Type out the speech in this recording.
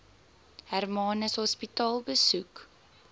hermanus hospitaal besoek